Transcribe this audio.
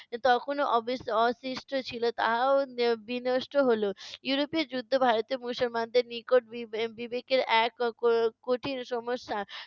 তখনও অবশি অশিষ্ট ছিলো তাহাও বি~ বিনষ্ট হলো। ইউরোপীয় যুদ্ধ ভারতীয় মুসলমানদের নিকট বি~ এর বিবেকের এক ক~ কঠিন সমস্যা